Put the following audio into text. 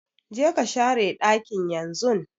Je ka share dakin yanzun!